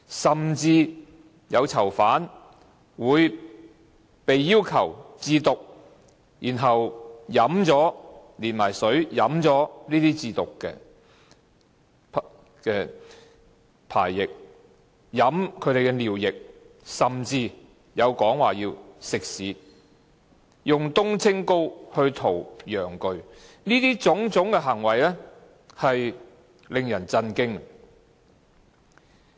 甚至有囚犯會被要求自瀆，然後連水飲掉這些自瀆的排液；飲他們的尿液，甚至有說他們要吃屎，以冬青膏塗抹陽具，這些種種行為令人震驚。